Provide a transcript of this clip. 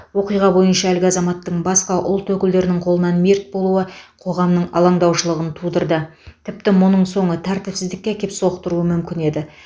оқиға бойынша әлгі азаматтың басқа ұлт өкілдерінің қолынан мерт болуы қоғамның алаңдаушылығын тудырды тіпті мұның соңы тәртіпсіздікке әкеп соқтыруы мүмкін еді